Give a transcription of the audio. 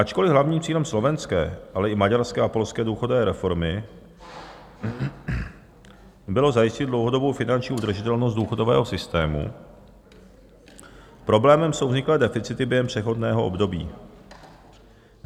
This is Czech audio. Ačkoliv hlavním cílem slovenské, ale i maďarské a polské důchodové reformy bylo zajistit dlouhodobou finanční udržitelnost důchodového systému, problémem jsou vzniklé deficity během přechodného období.